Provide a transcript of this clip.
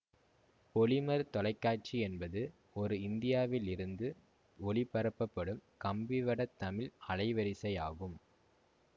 பொலிமர் தொலைக்காட்சி என்பது ஒரு இந்தியாவில் இருந்து ஒளிபரப்பப்படும் கம்பிவடத் தமிழ் அலைவரிசை ஆகும்